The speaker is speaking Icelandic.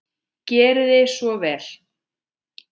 Gerið svo vel!